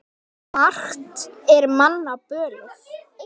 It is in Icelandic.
Margt er manna bölið.